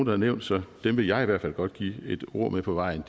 har nævnt så dem vil jeg i hvert fald godt give et ord med på vejen